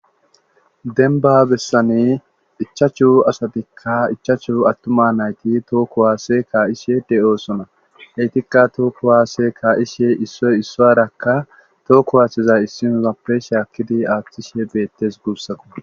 Denba bessane ichachu asatikka ichachu attuma nayti tookkohaasee kaa7ishe de7oosona heytikka tookko waasee kaishe issoy isso yarakka tookku haaththizay issinosappesha akkidi aaththishe beettes guussako